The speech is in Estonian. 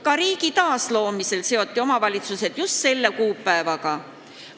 Ka riigi taasloomisel seoti omavalitsused just selle kuupäevaga.